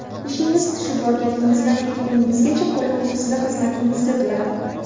Ishingiz tushib borganingizdan ketguningizgacha qo‘li ko‘ksida xizmatingizda turadi.